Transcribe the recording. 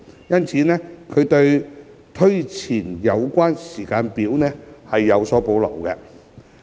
因此，他們對推前有關時間表有所保留。